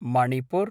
Manipur